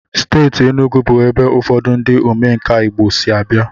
Steeti Enugwu bụ ebe ụfọdụ ndị omenkà Igbo si abịa.